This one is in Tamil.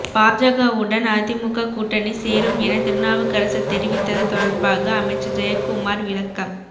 பாஜகவுடன் அதிமுக கூட்டணி சேரும் என திருநாவுக்கரசர் தெரிவித்தது தொடர்பாக அமைச்சர் ஜெயக்குமார் விளக்கம்